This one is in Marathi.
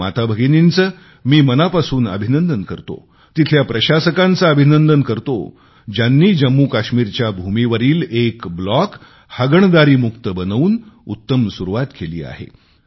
त्या माताभगिनींचे मी मनापासून अभिनंदन करतो तिथल्या प्रशासकांचे अभिनंदन करतो ज्यांनी जम्मूकाश्मीरच्या भूमीवरील एक ब्लॉक हगणदरीमुक्त बनवून उत्तम सुरुवात केली आहे